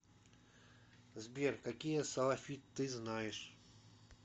сбер какие салафит ты знаешь